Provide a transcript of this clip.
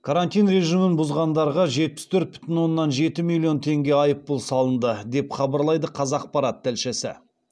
карантин режимін бұзғандарға жетпіс төрт бүтін оннан жеті миллион теңге айыппұл салынды деп хабарлайды қазақпарат тілшісі